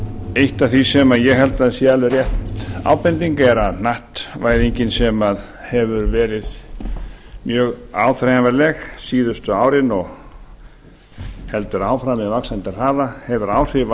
eitt af því sem ég held að sé alveg rétt ábending er að hnattvæðingin sem hefur verið mjög áþreifanleg síðustu árin og heldur áfram með vaxandi hraða hefur áhrif